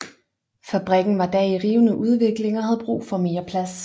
Fabrikken var da i rivende udvikling og havde brug for mere plads